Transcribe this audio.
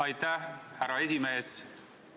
Aitäh, härra esimees!